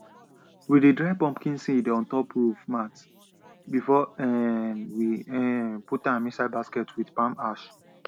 we dey dry pumpkin seeds on top roof mats before um we um put am inside baskets with palm ash